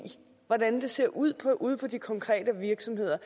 hvordan det ser ud ude på de konkrete virksomheder